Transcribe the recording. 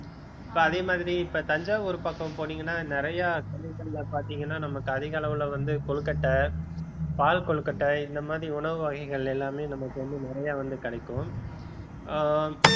இப்ப அதே மாரி இப்ப தஞ்சாவூர் பக்கம் போனீங்கன்னா நிறைய பாத்தீங்கன்னா நமக்கு அதிக அளவுல வந்து கொழுக்கட்டை பால் கொழுக்கட்டை இந்த மாதிரி உணவு வகைகள் எல்லாமே நமக்கு வந்து நிறைய வந்து கிடைக்கும் அஹ்